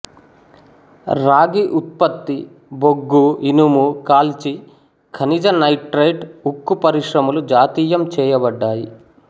రాగి ఉత్పత్తి బొగ్గు ఇనుము కాలిచీ ఖనిజ నైట్రేట్ ఉక్కు పరిశ్రమలు జాతీయం చేయబడ్డాయి